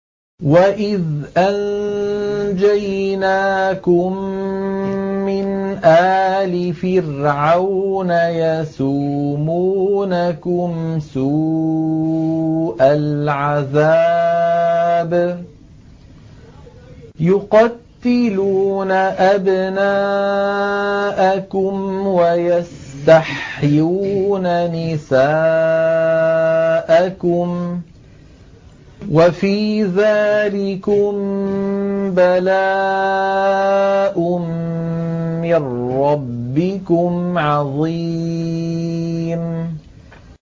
وَإِذْ أَنجَيْنَاكُم مِّنْ آلِ فِرْعَوْنَ يَسُومُونَكُمْ سُوءَ الْعَذَابِ ۖ يُقَتِّلُونَ أَبْنَاءَكُمْ وَيَسْتَحْيُونَ نِسَاءَكُمْ ۚ وَفِي ذَٰلِكُم بَلَاءٌ مِّن رَّبِّكُمْ عَظِيمٌ